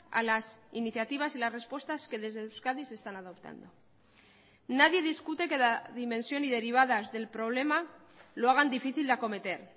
a las iniciativas y las respuestas que desde euskadi se están adoptando nadie discute que la dimensión y derivadas del problema lo hagan difícil de acometer